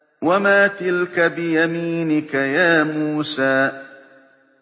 وَمَا تِلْكَ بِيَمِينِكَ يَا مُوسَىٰ